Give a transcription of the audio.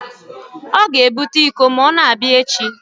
Ọ ga-ebute iko ma ọ na-abịa echi